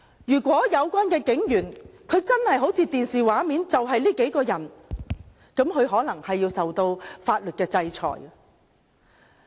如果有關警員真的好像電視畫面顯示般，那麼他們便可能要受到法律制裁。